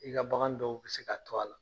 I ka bagan dɔw bɛ se ka to a la.